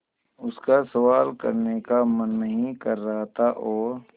उसका सवाल करने का मन नहीं कर रहा था और